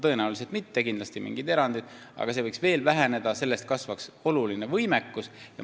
Tõenäoliselt mitte, kindlasti on mingid erandid, aga see arv võiks veel väheneda, sellega kasvaks võimekus oluliselt.